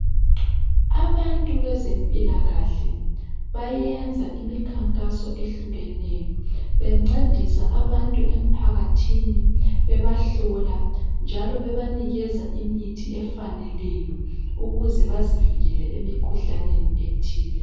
Abantu bezempilakahle bayenza imikhankaso ehlukeneyo bencedisa abantu emphakathini, bebahlola njalo bebanikeza imithi efaneleyo ukuze bazivikele emikhuhlaneni ethile.